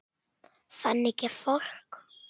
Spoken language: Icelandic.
Þannig er fólk.